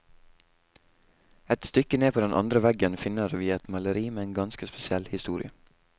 Et stykke ned på den andre veggen finner vi et maleri med en ganske spesiell historie.